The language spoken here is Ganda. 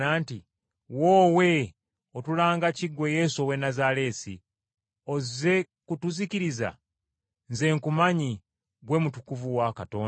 “Woowe! Otulanga ki, ggwe Yesu ow’e Nazaaleesi? Ozze kutuzikiriza? Nze nkumanyi, ggwe mutukuvu wa Katonda.”